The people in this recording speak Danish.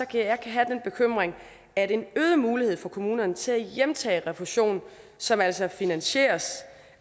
kan jeg have den bekymring at en øget mulighed for kommunerne til at hjemtage refusion som altså finansieres